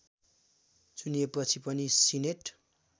चुनिएपछि पनि सिनेट